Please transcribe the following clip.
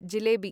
jalebi